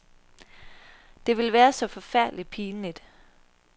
Det ville være så forfærdeligt pinligt.